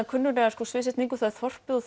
kunnuglega sviðsetningu það er þorpið og